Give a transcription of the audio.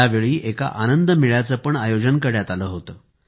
त्यावेळी एका आनंदमेळयाचे पण आयोजन करण्यात आले होते